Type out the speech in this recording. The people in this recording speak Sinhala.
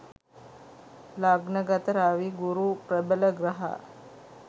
ලග්න ගත රවි ගුරු ප්‍රබල ග්‍රහ